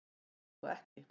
Svo er þó ekki.